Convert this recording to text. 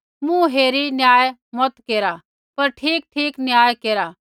मुँह हेरी न्याय मता केरा पर ठीकठीक न्याय केरा